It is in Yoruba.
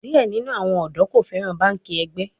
Diẹ ninu awọn ọdọ ko fẹran banki ẹgbẹ